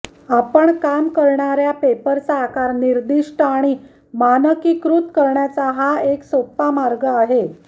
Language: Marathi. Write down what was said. आपण काम करणार्या पेपरचा आकार निर्दिष्ट आणि मानकीकृत करण्याचा हा एक सोपा मार्ग आहे